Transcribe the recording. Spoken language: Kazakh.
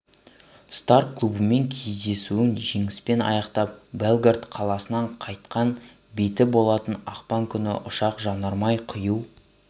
стар клубымен кездесуін жеңіспен аяқтап белград қаласынан қайтқан беті болатын ақпан күні ұшақ жанармай құю